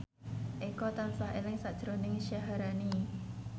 Eko tansah eling sakjroning Syaharani